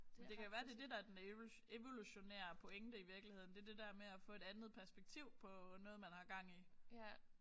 Men det kan jo være det er det der er en evolutionære pointe i virkeligheden. Det er det der med at få et andet perspektiv på noget man har gang i